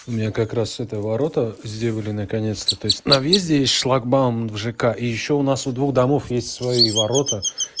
у меня как раз это ворота сделали наконец-то то есть на въезде есть шлагбаум в жк и ещё у нас у двух домов есть свои ворота